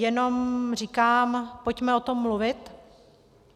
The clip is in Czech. Jenom říkám, pojďme o tom mluvit.